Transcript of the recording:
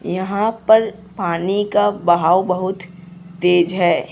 यहां पर पानी का बहाव बहुत तेज है।